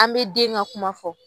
An bɛ den ka kuma fɔ